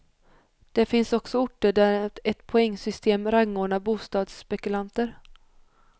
Det finns också orter där ett poängsystem rangordnar bostadsspekulanter.